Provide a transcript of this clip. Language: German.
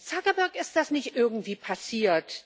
Zuckerberg ist das nicht irgendwie passiert.